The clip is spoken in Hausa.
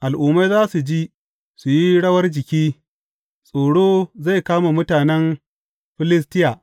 Al’ummai za su ji, su yi rawar jiki tsoro zai kama mutanen Filistiya.